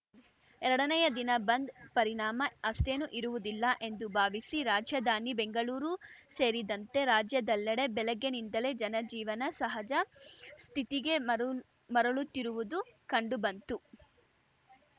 ಎರಡನೇಯ ದಿನ ಬಂದ್‌ ಪರಿಣಾಮ ಅಷ್ಟೇನೂ ಇರುವುದಿಲ್ಲ ಎಂದು ಭಾವಿಸಿ ರಾಜಧಾನಿ ಬೆಂಗಳೂರು ಸೇರಿದಂತೆ ರಾಜ್ಯದೆಲ್ಲೆಡೆ ಬೆಳಗ್ಗೆನಿಂದಲೇ ಜನಜೀವನ ಸಹಜ ಸ್ಥಿತಿಗೆ ಮರುಳ್ ಮರಳುತ್ತಿರುವುದು ಕಂಡುಬಂತು